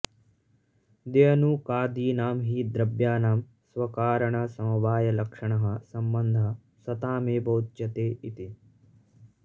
द्व्यणुकादीनां हि द्रव्याणां स्वकारणसमवायलक्षणः संबन्धः सतामेव उच्यते इति